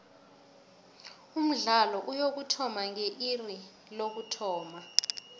umdlalo uyokuthoma nge iri lokuthoma